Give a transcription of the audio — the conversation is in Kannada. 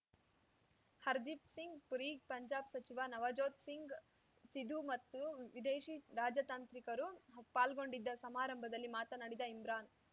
ಹರ್ದೀಪ್‌ ಸಿಂಗ್‌ ಪುರಿ ಪಂಜಾಬ್‌ ಸಚಿವ ನವಜೋತ್‌ ಸಿಂಗ್‌ ಸಿಧು ಮತ್ತು ವಿದೇಶಿ ರಾಜತಾಂತ್ರಿಕರು ಪಾಲ್ಗೊಂಡಿದ್ದ ಸಮಾರಂಭದಲ್ಲಿ ಮಾತನಾಡಿದ ಇಮ್ರಾನ್‌